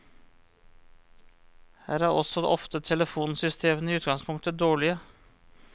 Her er også ofte telefonsystemene i utgangspunktet dårlige.